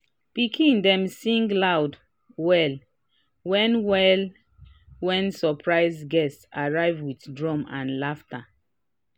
pikin dem sing loud well when well when surprise guests arrive with drum and laughte